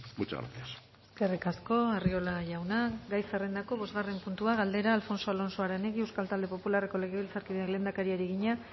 muchas gracias eskerrik asko arriola jauna gai zerrendako bosgarren puntua galdera alfonso alonso aranegui euskal talde popularreko legebiltzarkideak lehendakariari egina